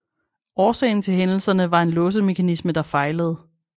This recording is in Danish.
Årsagen til hændelserne var en låsemekanisme der fejlede